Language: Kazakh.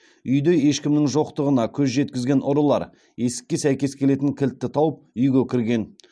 үйде ешкімнің жоқтығына көз жеткізген ұрылар есікке сәйкес келетін кілтті тауып үйге кірген